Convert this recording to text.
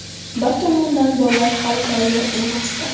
Bir tomondan bollar hali tayyor emasdi.